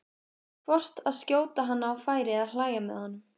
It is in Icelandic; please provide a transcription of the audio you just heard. hvort að skjóta hann á færi eða hlæja með honum.